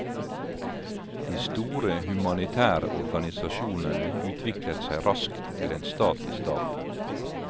De store humanitære organisasjonene utviklet seg raskt til en stat i staten.